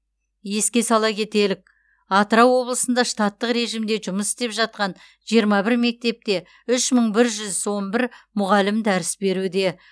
еске сала кетелік атырау облысында штаттық режимде жұмыс істеп жатқан жиырма бір мектепте үш мың бір жүз он бір мұғалім дәріс беруде